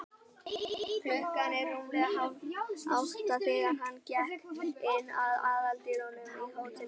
Klukkan var rúmlega hálfátta, þegar hann gekk inn um aðaldyrnar á hótelinu.